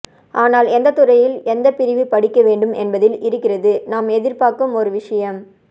ஆனால் எந்த துறையில் எந்த பிரிவு படிக்க வேண்டும் என்பதில் இருக்கிறது நாம் எதிர்பார்க்கும் ஒரு விஷயம்